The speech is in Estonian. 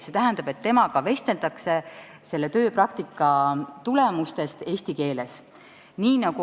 See tähendab, et temaga vesteldakse selle tööpraktika tulemustest eesti keeles.